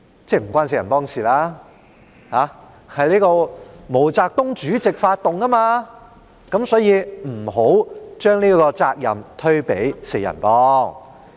即文革不是由"四人幫"發起的，是毛澤東主席發動的，因此，不要把責任推給"四人幫"。